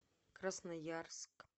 красноярск